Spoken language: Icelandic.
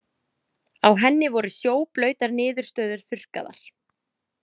Á henni voru sjóblautar niðurstöður þurrkaðar.